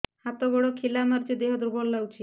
ହାତ ଗୋଡ ଖିଲା ମାରିଯାଉଛି ଦେହ ଦୁର୍ବଳ ଲାଗୁଚି